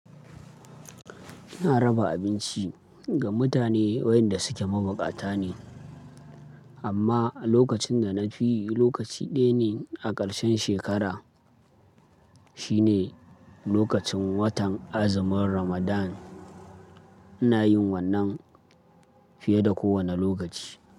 Ina raba abinci ga mutane wayanda suke mabukata ne, amma a lokacin da na fi lokaci ɗaya ne a ƙarshen shekara, shine lokacin watan azumin Ramadan. Ina yin wannan fiye da kowane lokaci.